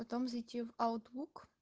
потом зайти в аутлук